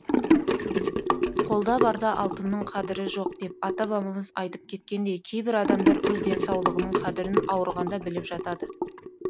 қолда барда алтынның қадірі жоқ деп ата бабамыз айтып кеткендей кейбір адамдар өз денсаулығының қадірін ауырғанда біліп жатады